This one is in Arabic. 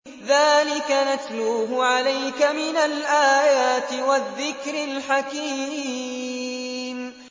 ذَٰلِكَ نَتْلُوهُ عَلَيْكَ مِنَ الْآيَاتِ وَالذِّكْرِ الْحَكِيمِ